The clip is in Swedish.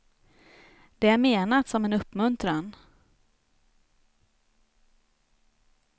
Det är menat som en uppmuntran.